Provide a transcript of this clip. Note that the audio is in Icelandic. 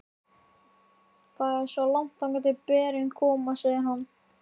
Það er svo langt þangað til berin koma, segir hann.